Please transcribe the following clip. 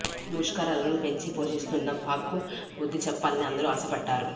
ముష్కరలను పెంచి పోషిస్తు న్న పాక్కు బుద్ధి చెప్పాలని అందరూ ఆశపడ్డారు